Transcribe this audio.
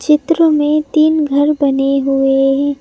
चित्र में तीन घर बने हुए हैं।